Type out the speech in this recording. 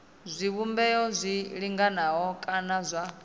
zwivhumbeo zwi linganaho kana zwa